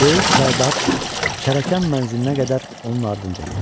Böyük Sərdar Çərəkən mənzilinə qədər onun ardınca getdi.